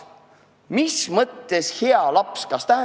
Mis tähendab "hea laps"?